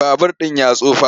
Babur ɗin ya tsufa.